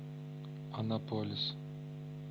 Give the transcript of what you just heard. анаполис